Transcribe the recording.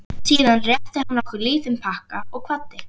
Síðan rétti hann okkur lítinn pakka og kvaddi.